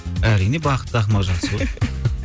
әрине бақытты ақымақ жақсы ғой